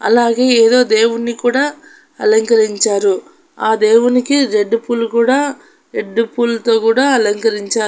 అలాగే ఏదో దేవున్ని కూడా అలకరించారు ఆ దేవునికి రెడ్ పూలు కూడా రెడ్ పూలతో కూడా అలుకరించారు.